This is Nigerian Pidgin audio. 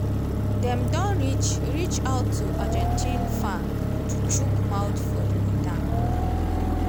dem don reach reach out to argentine fa to chook mouth for di mata.